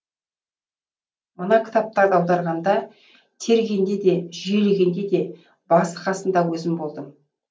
мына кітаптарды аударғанда тергенде де жүйелегенде де басы қасында өзім болдым